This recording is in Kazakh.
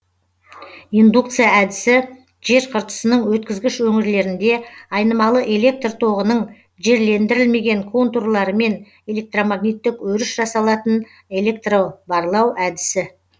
индукция әдісі жер қыртысының өткізгіш өңірлерінде айнымалы электр тоғының жерлендірілмеген контурларымен электромагниттік өріс жасалатын электробарлау әдісі